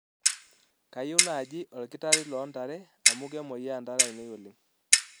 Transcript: kayieu naaji olkitari loo ntare amu kemoia ntare aainei oleng